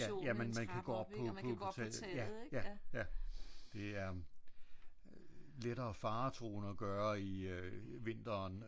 Ja men man kan gå op på på på taget ja ja det er lettere faretruende at gøre i vinteren skulle jeg hilse og sige hvis hvis vejret hvis vejret er dårligt